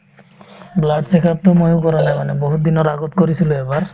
blood check up তো ময়ো কৰা নাই মানে বহুত দিনৰ আগত কৰিছিলো এবাৰ